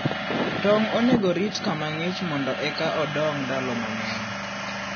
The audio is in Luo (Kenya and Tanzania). tong` onego orit kama ng'ich mondo eka odong' ndalo mang'eny.